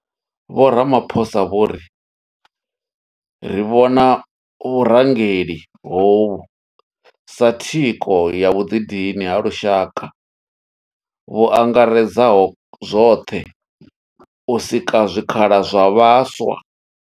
Vho Ramaphosa vho ri ri vhona vhurangeli hovhu sa thikho ya vhuḓidini ha lushaka vhu angaredzaho zwoṱhe u sika zwikhala zwa vhaswa.